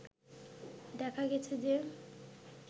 দেখা গেছে যে